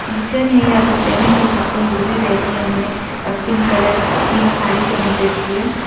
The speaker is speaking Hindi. टीचर है या वह पेरेंट्स हो सकती है। वह भी बैठी है। उन्होंने पिंक कलर की साड़ी पहन रखी है।